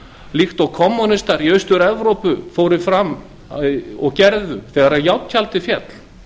líkt og kommúnistar í austur evrópu fóru fram á og gerðu þegar járntjaldið féll